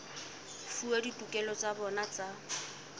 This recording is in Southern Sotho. fuwa ditokelo tsa bona tsa